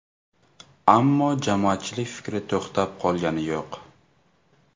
Ammo jamoatchilik fikri to‘xtab qolgani yo‘q.